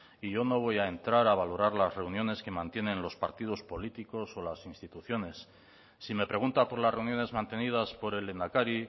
y yo no voy a entrar a valorar las reuniones que mantienen los partidos políticos o las instituciones si me pregunta por las reuniones mantenidas por el lehendakari